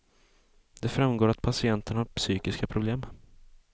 Det framgår att patienterna har psykiska problem.